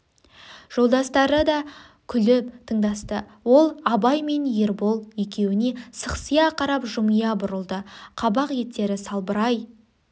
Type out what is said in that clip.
жолдастары да күліп тындасты ол абай мен ербол екеуіне сықсия қарап жымия бұрылды қабақ еттері салбырай